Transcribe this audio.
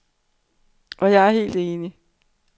Og jeg er helt enig.